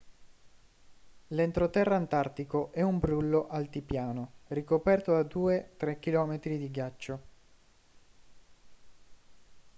l'entroterra antartico è un brullo altipiano ricoperto da 2-3 km di ghiaccio